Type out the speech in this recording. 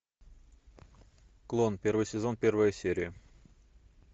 клон первый сезон первая серия